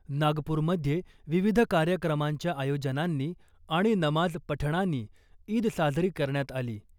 नागपूरमध्ये विविध कार्यक्रमांच्या आयोजनांनी आणि नमाज पठणानी ईद साजरी करण्यात आली .